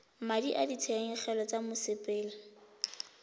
madi a ditshenyegelo tsa mosepele